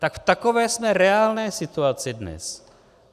Tak v takové jsme reálné situaci dnes.